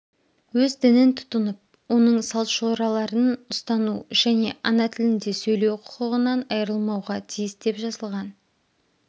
өз дінін тұтынып оның салт-жораларын ұстану және ана тілінде сөйлеу құқығынан айырылмауға тиіс деп жазылған